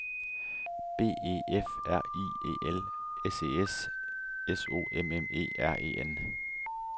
B E F R I E L S E S S O M M E R E N